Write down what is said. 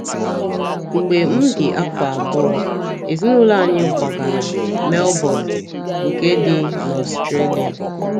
Mgbe m dị afọ abụọ, ezinụlọ anyị kwagara Melbọn nke dị n’Ọstrelia..